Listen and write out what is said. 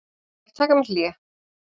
Ég ætla að taka mér hlé.